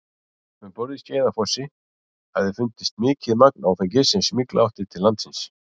Um borð í Skeiðsfossi hafði fundist mikið magn áfengis sem smygla átti til landsins.